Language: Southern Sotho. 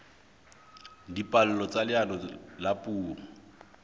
dipallo tsa leano la puo